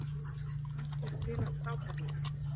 Mér fannst við spila frábærlega